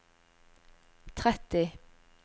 tretti